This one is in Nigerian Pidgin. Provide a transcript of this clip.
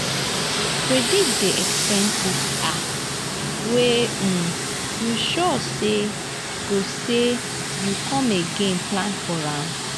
predict di expenses um wey um you sure sey go sey go come again plan for am